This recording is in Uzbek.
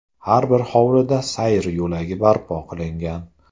Har bir hovlida sayr yo‘lagi barpo qilingan.